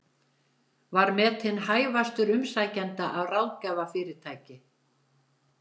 Var metinn hæfastur umsækjenda af ráðgjafarfyrirtæki